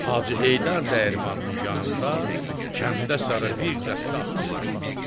Hacı Heydər dəyirmanının yanında kəndə sarı bir dəstə atdı.